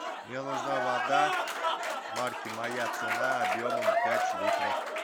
мне нужна вода марки моя цена объемом пять литров